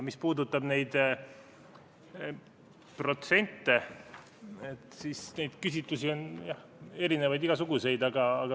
Mis puudutab neid protsente, siis neid küsitlusi on erinevaid, igasuguseid.